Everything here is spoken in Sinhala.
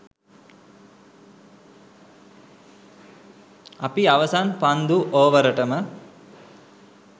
අපි අවසන් පන්දු ඕවරටම